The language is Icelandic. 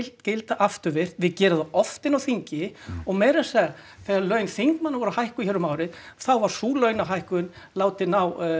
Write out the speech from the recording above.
gilda afturvirkt við gerum það oft inni á þingi og meira að segja þegar laun þingmanna voru hækkuð hér um árið þá var sú launahækkun látin